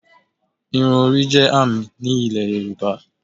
Irun orí jẹ́ àmì ní Ilẹ̀ Yorùbá